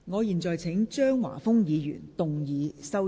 我現在請張華峰議員動議修正案。